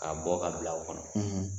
Ka bɔ ka bila o kɔnɔ